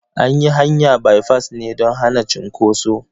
An yi hanya baifas ne don hana cunkoso.